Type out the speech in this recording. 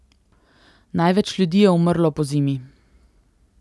Največ ljudi je umrlo pozimi.